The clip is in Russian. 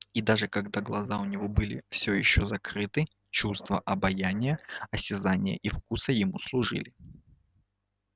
и даже когда глаза у него были всё ещё закрыты чувства обоняния осязания и вкуса ему служили